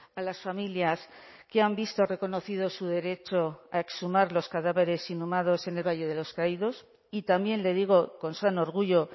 a las familias que han visto reconocido su derecho a exhumar los cadáveres inhumados en el valle de los caídos y también le digo con sano orgullo